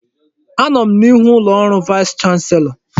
Anọ m n'ihu ụlọ ọrụ vaịs chanselọ.